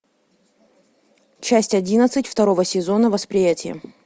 часть одиннадцать второго сезона восприятие